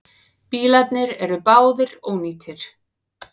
Bílarnir eru báðir ónýtir.